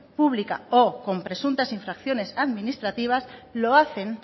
pública o con presuntas infracciones administrativas lo hacen